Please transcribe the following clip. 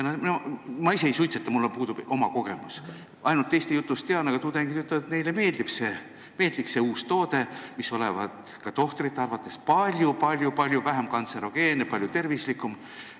Ma ise ei suitseta, mul puudub oma kogemus, ainult teiste jutust tean seda teemat, aga jah, tudengid ütlevad, et neile meeldiks see uus toode, mis olevat ka tohtrite arvates palju vähem kantserogeenne, palju tervislikum.